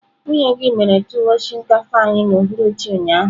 Nwunye gi mere tuwon shinkafa anyi n'uhuruchi ụnyaahụ.